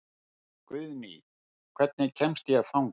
Guðný, hvernig kemst ég þangað?